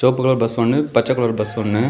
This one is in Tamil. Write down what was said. சிவப்பு கலர் பஸ் ஒன்னு பச்சை கலர் பஸ் ஒன்னு.